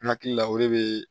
N hakili la o de bɛ